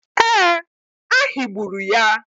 Ee, a higburu ya.